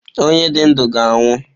Onye dị ndụ ga anwụ.